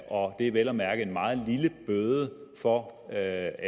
og det er vel at mærke en meget lille bøde for at